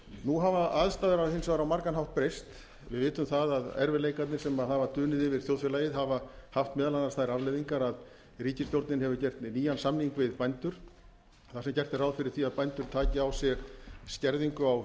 nú hafa aðstæður hins vegar á margan hátt breyst við vitum að erfiðleikarnir sem hafa dunið yfir þjóðfélagið hafa haft meðal annars þær afleiðingar að ríkisstjórnin hefur gert nýjan samning við bændur þar sem gert er ráð fyrir því að bændur taki á sig skerðingu á